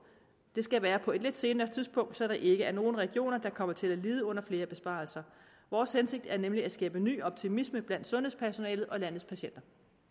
det skal være på et lidt senere tidspunkt så der ikke er nogen regioner der kommer til at lide under flere besparelser vores hensigt er nemlig at skabe ny optimisme blandt sundhedspersonalet og landets patienter